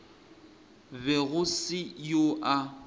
be go se yoo a